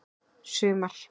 sumar